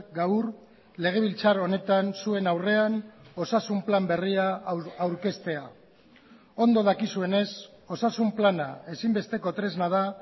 gaur legebiltzar honetan zuen aurrean osasun plan berria aurkeztea ondo dakizuenez osasun plana ezinbesteko tresna da